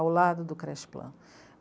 ao lado do creche plan.